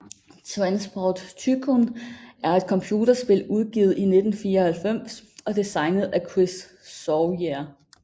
Transport Tycoon er et computerspil udgivet i 1994 og designet af Chris Sawyer